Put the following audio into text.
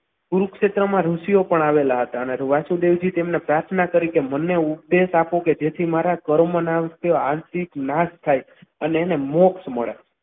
કુરુક્ષેત્રમાં ઋષિઓ પણ આવેલા હતા અને વાસુદેવથી એમણે પ્રાર્થના કરી કે અમને ઉપદેશ આપો કે જેથી કર્મ ના આર્થિક નાશ થાય અને એને મોક્ષ મળે.